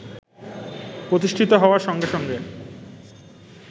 প্রতিষ্ঠিত হওয়ার সঙ্গে সঙ্গে